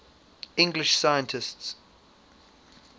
english scientists